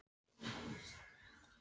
Nú eru margir bæir þar komnir í eyði.